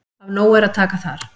Af nógu er að taka þar.